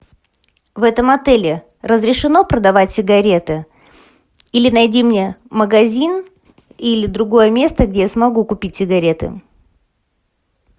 в этом отеле разрешено продавать сигареты или найди мне магазин или другое место где я смогу купить сигареты